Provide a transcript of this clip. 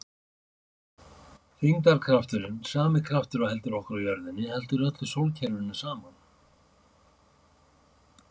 Þyngdarkrafturinn, sami kraftur og heldur okkur á jörðinni, heldur öllu sólkerfinu saman.